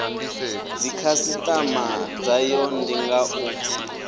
dzikhasitama dzayo ndi nga u